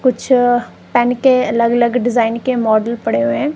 कुछ पेन के अलग अलग डिजाइन के मॉडल पड़े हुए--